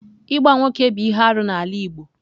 Ịgba nwoke bụ ihe arụ n'ala Igbo.